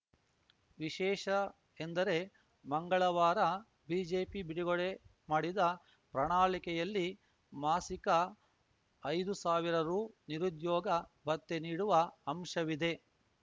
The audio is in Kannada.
ವಿಶೇಷ ಎಂದರೆ ಮಂಗಳವಾರ ಬಿಜೆಪಿ ಬಿಡುಗಡೆ ಮಾಡಿದ ಪ್ರಣಾಳಿಕೆಯಲ್ಲಿ ಮಾಸಿಕಐದು ಸಾವಿರ ರು ನಿರುದ್ಯೋಗ ಭತ್ಯೆ ನೀಡುವ ಅಂಶವಿದೆ